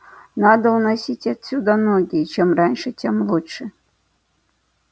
надо уносить отсюда ноги и чем раньше тем лучше